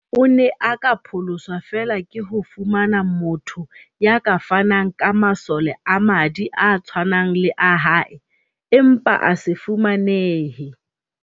O ne a ka pholoswa feela ke ho fumana motho ya ka fanang ka masole a madi a tshwanang le a hae, empa a se fumanehe.